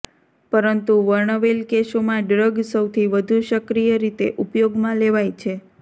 પરંતુ વર્ણવેલ કેસોમાં ડ્રગ સૌથી વધુ સક્રિય રીતે ઉપયોગમાં લેવાય છે